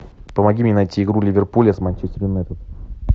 помоги мне найти игру ливерпуля с манчестер юнайтед